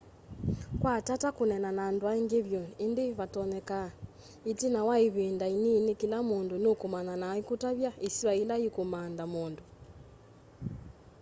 kwa tata kũneena na andũ aĩngĩ vyũ ĩndĩ vatonyeka ĩtina wa ĩvĩnda ĩnĩnĩ kĩla mũndũ nũkũũmanya na aĩkũtavya ĩsĩwa yĩla yĩkũmantha mũndũ